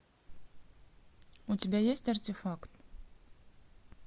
у тебя есть артефакт